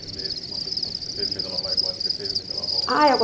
meses com uma pessoa, depois seis meses ela vai embora, depois seis meses ela volta. Ah eu